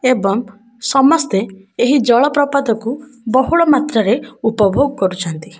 ଏବଂ ସମସ୍ତେ ଏହି ଜଳପ୍ରପାତକୁ ବହୁଳ ମାତ୍ରାରେ ଉପଭୋଗ କରୁଛନ୍ତି।